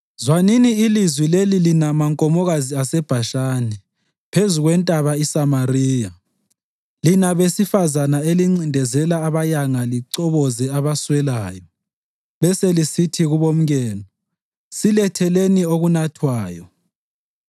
Zwanini ilizwi leli lina mankomokazi aseBhashani phezu kweNtaba iSamariya, lina besifazane elincindezela abayanga lichoboze abaswelayo beselisithi kubomkenu, “Siletheleni okunathwayo!”